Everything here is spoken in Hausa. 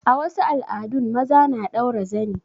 A wasu al'adun maza na ɗaura zani.